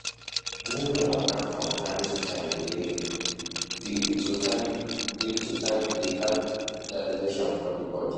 Drinking water from time to time dey to time dey help digestion for di bodi